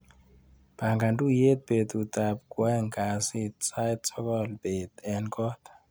Pangan tuiyet betutap kwaeng' kasit sait sokol bet eng kot.